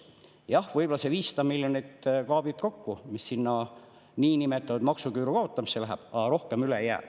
Jah, võib-olla selle 500 miljonit kraabib kokku, mis sinna niinimetatud maksuküüru kaotamisse läheb, aga rohkem üle ei jää.